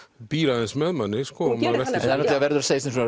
býr aðeins með manni það verður að segjast eins og